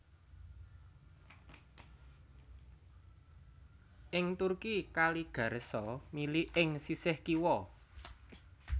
Ing Turki Kali Ghareso mili ing sisih kiwa